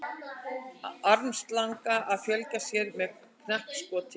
Armslanga að fjölga sér með knappskoti.